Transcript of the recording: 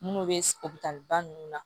Minnu bɛ ninnu na